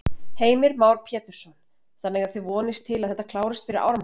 Heimir Már Pétursson: Þannig að þið vonist til að þetta klárist fyrir áramót?